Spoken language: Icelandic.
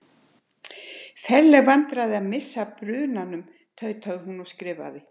Ferleg vandræði að missa af brunan- um. tautaði hún og skrifaði